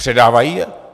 Předávají je?